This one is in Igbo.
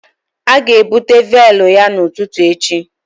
A ga-ebute véélu ya n'ụtụtụ echi